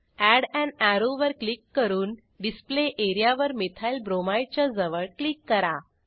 add an arrow वर click करून display area वर मिथाइलब्रोमाइड च्याजवळ क्लिक करा